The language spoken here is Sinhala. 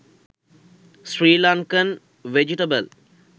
srilankan vegetable